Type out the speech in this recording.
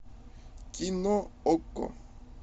кино окко